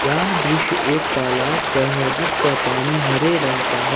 यह दृश्य एक तालाब का है जिसका पानी हरे रंग का है।